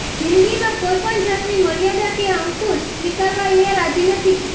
જિંદગીમાં કોઈ જાતની મર્યાદા કે અંકુશ સ્વીકારવા એ રાજી નથી